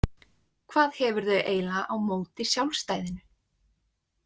Hvað hefurðu eiginlega á móti sjálfstæðinu?